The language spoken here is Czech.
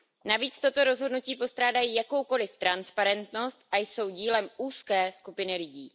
Navíc tato rozhodnutí postrádají jakoukoliv transparentnost a jsou dílem úzké skupiny lidí.